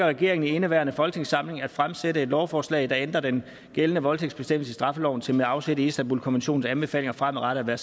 regeringen i indeværende folketingssamling at fremsætte et lovforslag der ændrer den gældende voldtægtsbestemmelse i straffeloven til med afsæt i istanbulkonventionens anbefalinger fremadrettet at